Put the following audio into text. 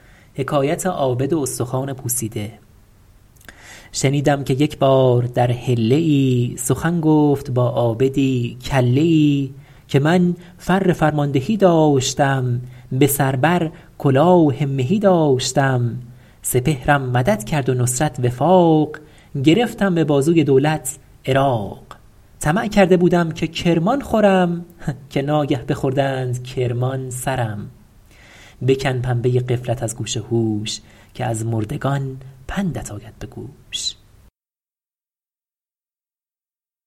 شنیدم که یک بار در حله ای سخن گفت با عابدی کله ای که من فر فرماندهی داشتم به سر بر کلاه مهی داشتم سپهرم مدد کرد و نصرت وفاق گرفتم به بازوی دولت عراق طمع کرده بودم که کرمان خورم که ناگه بخوردند کرمان سرم بکن پنبه غفلت از گوش هوش که از مردگان پندت آید به گوش